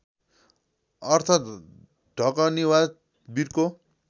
अर्थ ढकनी वा विर्को